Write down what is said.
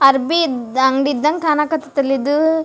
ಅರ್ಬಿ ದ್ ಅರ್ಬಿ ಅಂಗ್ಡಿ ಇದ್ದಂಗ್ ಕಣಕತತ್ ಅಲೆ ಇದು.